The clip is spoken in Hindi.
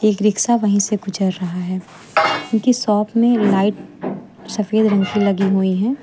एक रिक्शा वहीं से गुजर रहा है इनकी शॉप में लाइट सफेद रंग से लगी हुई है।